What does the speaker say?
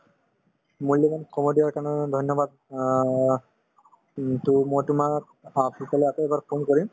মূল্যবান সময় দিয়াৰ কাৰণে ধন্যবাদ অ কিন্তু মই তোমাক অ পিছলৈ আকৌ এবাৰ phone কৰিম